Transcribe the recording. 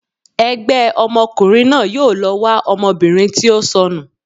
ẹgbẹ ọmọkùnrin náà yóò lọ wa ọmọbìnrin ti o sọnu